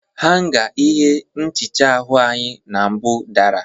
Hanga ihe nhicha ahụ na mbụ dara.